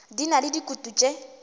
di na le dikutu tše